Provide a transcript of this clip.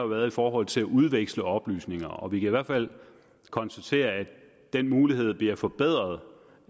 været i forhold til at udveksle oplysninger og vi kan i hvert fald konstatere at den mulighed bliver forbedret